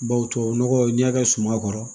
Bawo tubabu nɔgɔ n'i y'a kɛ suma kɔrɔ